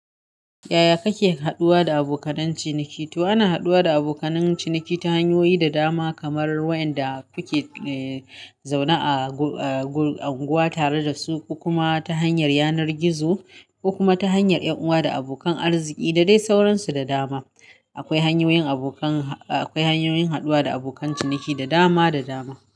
Yaya kake haɗuwa da abokan ciniki? To ana haɗuwa da abokan ciniki ta hanyoyi da dama kamar waɗanda kuke, eh, zaune a unguwa tare da su ko kuma ta hanyar yanar gizo kuma ta hanyar 'yan uwa da abokan arziki da dai sauransu da dama. Akwai hanyoyin abokan, akwai hanyoyin haɗuwa da abokan ciniki da dama da dama.